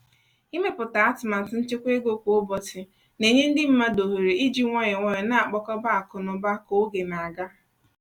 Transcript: ịmepụta atụmatụ nchekwa ego kwa ụbọchị na-enye ndị mmadụ ohere iji nwayọọ nwayọọ na-akpakọba akụ na ụba ka oge na-aga.